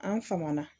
An famana